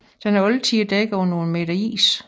Den er altid dækket af nogle meter is